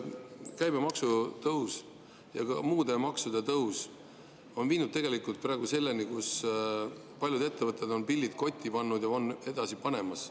Käibemaksu tõus ja muude maksude tõus on viinud praegu selleni, et paljud ettevõtted on pillid kotti pannud või panemas.